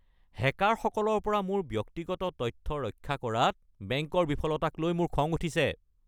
হেকাৰসকলৰ পৰা মোৰ ব্যক্তিগত তথ্য ৰক্ষা কৰাত বেংকৰ বিফলতাকলৈ মোৰ বৰ খং উঠিছে।